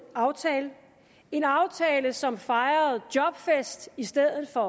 aftale en aftale som fejrede jobfest i stedet for